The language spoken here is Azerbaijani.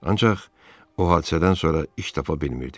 Ancaq o hadisədən sonra iş tapa bilmirdim.